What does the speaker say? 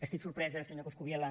estic sorpresa senyor coscubiela